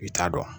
I t'a dɔn